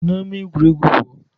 Si n'ama egwuregwu pụọ!